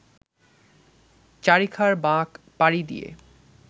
চারিখার বাঁক পাড়ি দিয়ে